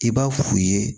I b'a f'u ye